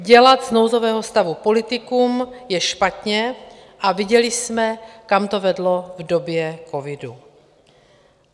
Dělat z nouzového stavu politikum je špatně a viděli jsme, kam to vedlo v době covidu.